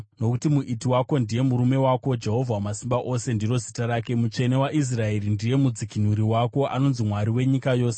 Nokuti Muiti wako ndiye murume wako, Jehovha Wamasimba Ose ndiro zita rake, Mutsvene waIsraeri ndiye Mudzikinuri wako; anonzi Mwari wenyika yose.